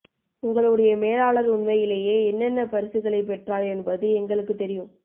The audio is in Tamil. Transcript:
உங்களுடைய மேலாளர் உண்மையிலேயே என்னென்ன பரிசுகளைப் பெற்றார் என்பது எங்களுக்குத் தெரியும்